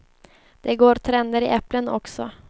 Det går trender i äpplen också.